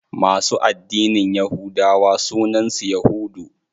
Masu addinin yahudawa sunan su yahudu.